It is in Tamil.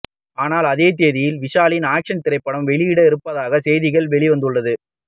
ஆனால் அதே தேதியில் விஷாலின் ஆக்சன் திரைப்படம் வெளியிட இருப்பதாக செய்திகள் வெளிவந்துள்ளது